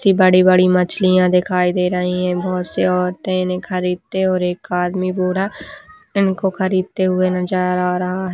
जे बड़ी-बड़ी मछलियाँ दिखाई दे रही हैं। बहुत सी औरतें इन्हैं खरीदते हुए और एक आदमी बूढ़ा इनको खरीदते नजर आ रहा --